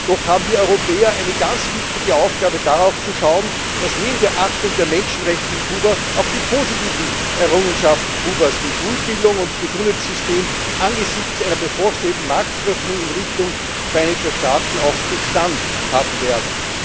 Doch haben wir Europäer eine ganz wichtige Aufgabe, darauf zu schauen, dass neben der Achtung der Menschenrechte in Kuba auch die positiven Errungenschaften Kubas wie Schulbildung und Gesundheitssystem angesichts einer bevorstehenden Marktöffnung in Richtung Vereinigter Staaten auch Bestand haben werden.